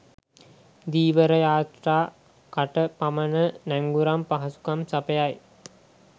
ධීවර යාත්‍රා කට පමන නැංගුරම් පහසුකම් සපයයි